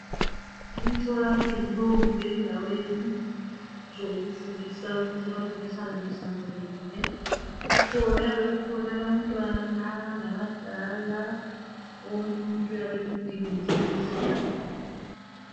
Emtholampilo kumbe endaweni zokufundisa ukuthi abantu behlale behlanzekile kukhona kuyabe kukhona abantwana labadala wonke umuntu uyabe eludinga usizo.